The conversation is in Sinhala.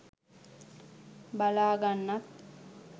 බලා ගන්නත්